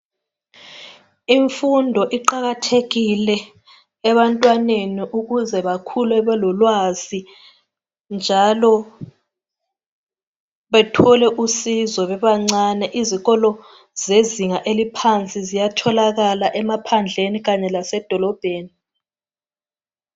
Imfundo iqakathekile ebantwaneni ukuze bakhule belolwazi njalo bethole usizo bebancane. Izikolo zezinga eliohansi ziyatholakala emaphandleni kanye lasemafolobheni.